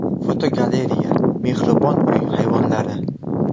Fotogalereya: Mehribon uy hayvonlari.